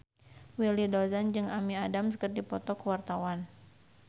Willy Dozan jeung Amy Adams keur dipoto ku wartawan